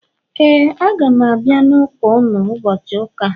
,Éè, a ga m abia n’ụka unu ụbọchị ụka a